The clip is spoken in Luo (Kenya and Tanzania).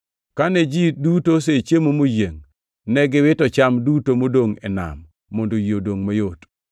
Kane ji duto osechiemo moyiengʼ, ne giwito cham duto modongʼ e nam mondo yie odongʼ mayot.